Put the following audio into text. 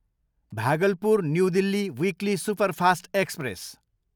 Bhagalpur, new Delhi weekly superfast express